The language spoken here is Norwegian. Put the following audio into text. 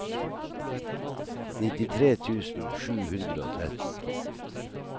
nittitre tusen sju hundre og tretten